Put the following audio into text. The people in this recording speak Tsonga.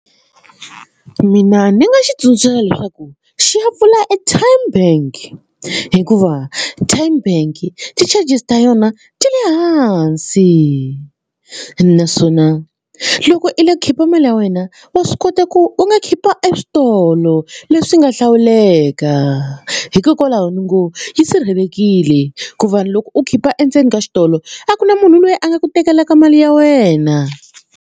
Mina ndzi nga xi tsundzuxa leswaku xi ya pfula e Tyme bank hikuva Tyme bank ti-charges ta yona ti le hansi naswona loko i le khipa mali ya wena wa swi kota ku u nga khipa eswitolo leswi nga hlawuleka hikokwalaho ni ngo yi sirhelelekile ku va loko u khipa endzeni ka xitolo a ku na munhu loyi a nga ku tekela ka mali ya wena.